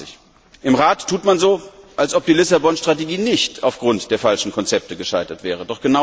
2020. Im Rat tut man so, als ob die Lissabon Strategie nicht aufgrund der falschen Konzepte gescheitert wäre.